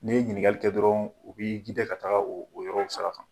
Ni ye ɲininkali kɛ dɔrɔn u bɛ ka taga o yɔrɔw sira kan.